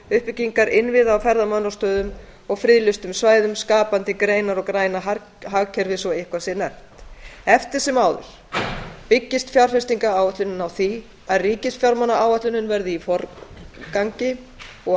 uppbyggingar innviða á ferðamannastöðum og friðlýstum svæðum skapandi greinar og græna hagkerfið svo eitthvað sé nefnt eftir sem áður byggist fjárfestingaráætlunin á því að ríkisfjármálaáætlunin verði í forgangi og að